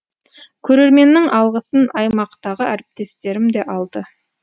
көрерменнің алғысын аймақтағы әріптестерім де алды